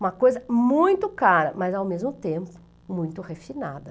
Uma coisa muito cara, mas ao mesmo tempo muito refinada.